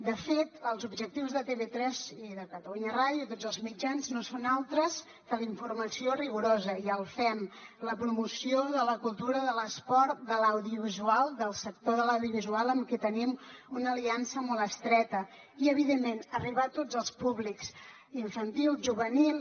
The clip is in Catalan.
de fet els objectius de tv3 i de catalunya ràdio i tots els mitjans no són altres que la informació rigorosa i en fem la promoció de la cultura de l’esport de l’audiovisual del sector de l’audiovisual amb qui tenim una aliança molt estreta i evidentment arribar a tots els públics infantil juvenil